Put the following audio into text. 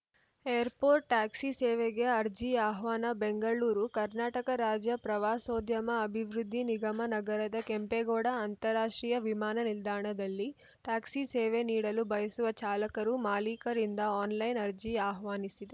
airport taxi ಸೇವೆಗೆ ಅರ್ಜಿ ಆಹ್ವಾನ ಬೆಂಗಳೂರು ಕರ್ನಾಟಕ ರಾಜ್ಯ ಪ್ರವಾಸೋದ್ಯಮ ಅಭಿವೃದ್ಧಿ ನಿಗಮ ನಗರದ ಕೆಂಪೇಗೌಡ ಅಂತಾರಾಷ್ಟ್ರೀಯ ವಿಮಾನ ನಿಲ್ದಾಣದಲ್ಲಿ ಟ್ಯಾಕ್ಸಿ ಸೇವೆ ನೀಡಲು ಬಯಸುವ ಚಾಲಕರುಮಾಲೀಕರಿಂದ ಆನ್‌ಲೈನ್‌ ಅರ್ಜಿ ಆಹ್ವಾನಿಸಿದೆ